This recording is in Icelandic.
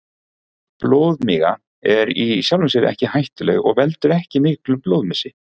Blóðmiga er í sjálfu sér ekki hættuleg og veldur ekki miklum blóðmissi.